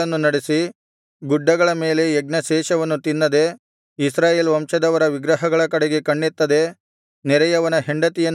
ಗುಡ್ಡಗಳ ಮೇಲೆ ಯಜ್ಞಶೇಷವನ್ನು ತಿನ್ನದೆ ಇಸ್ರಾಯೇಲ್ ವಂಶದವರ ವಿಗ್ರಹಗಳ ಕಡೆಗೆ ಕಣ್ಣೆತ್ತದೆ ನೆರೆಯವನ ಹೆಂಡತಿಯನ್ನು ಕೆಡಿಸದೆ